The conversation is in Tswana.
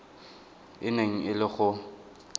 e neng e le go